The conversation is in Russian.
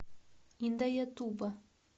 индаятуба